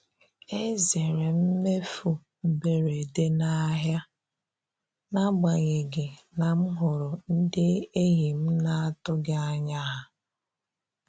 E zeere m mmefu mberede n'ahịa n'agbanyeghị na m hụrụ ndị enyi m na-atụghị anya ha.